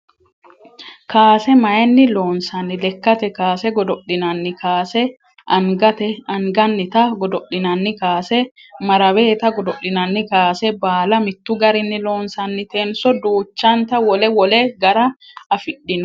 Kaase mayiinni loonsanni? Lekkate kaase godo'linanni kaase, angannita godo'linanni kaase, maraweeta godo'linanni kaase baala mittu garinni loosantanonso duuchante wole wole gara afidhino?